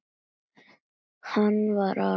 Hann var aleinn.